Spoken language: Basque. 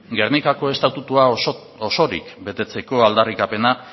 gernikako estatutua osorik betetzeko aldarrikapena